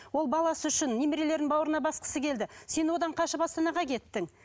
ол баласы үшін немерлерін бауырына басқысы келді сен одан қашып астанаға кеттің